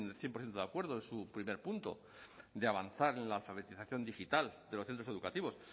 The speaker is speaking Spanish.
cien por ciento de acuerdo en su primer punto de avanzar en la alfabetización digital de los centros educativos